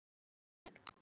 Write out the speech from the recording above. Vala Rún.